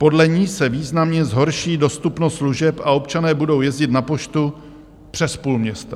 Podle ní se významně zhorší dostupnost služeb a občané budou jezdit na poštu přes půl města.